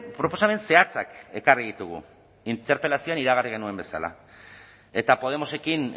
proposamen zehatzak ekarri ditugu interpelazioan iragarri genuen bezala eta podemosekin